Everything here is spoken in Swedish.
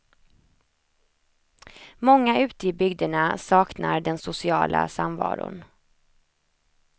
Många ute i bygderna saknar den sociala samvaron.